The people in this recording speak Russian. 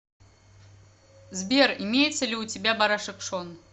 сбер имеется ли у тебя барашек шон